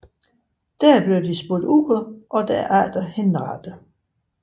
Der blev de spurgt ud og derpå henrettet